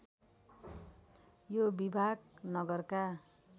यो विभाग नगरका